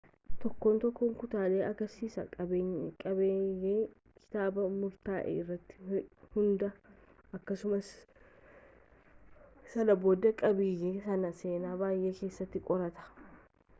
tokkoon tokkoon kutaalee agarsiisaa qabiiyyee kitaaba murtaa'ee irratti hundaa'a akkasumas sana booda qabiiyyee sana seenaa baay'ee keessatti qoratu